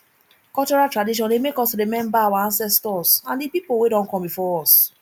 cultural tradition dey make us remember our ancestors and di pipo wey don come before us